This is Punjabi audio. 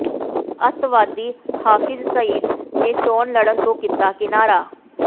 ਅੱਤਵਾਦੀ ਹਾਫ਼ਿਜ਼ ਸਈਦ ਨੇ ਚੋਣ ਲੜਨ ਤੋਂ ਕੀਤਾ ਕਿਨਾਰਾ